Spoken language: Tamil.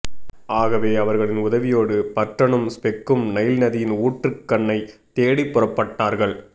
ஆகவே அவர்களின் உதவியோடு பர்டனும் ஸ்பெக்கும் நைல் நதியின் ஊற்றுக்கண்ணைத் தேடி புறப்பட்டார்கள்